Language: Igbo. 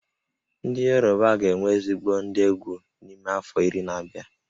Ndị Yoruba ga-enwe ezigbo ndị egwú n'ime afọ iri na-abịa